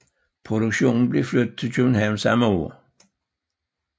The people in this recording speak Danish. Produktionen blev flyttet til København samme år